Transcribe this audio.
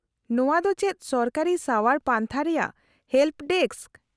- ᱱᱚᱶᱟ ᱫᱚ ᱪᱮᱫ ᱥᱚᱨᱠᱟᱨᱤ ᱥᱟᱣᱟᱨ ᱯᱟᱱᱛᱷᱟ ᱨᱮᱭᱟᱜ ᱦᱮᱞᱯᱚ ᱰᱮᱠᱥ ?